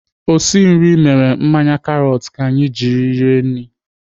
Osi nri mere mmanya karọt ka anyị ji rie nri.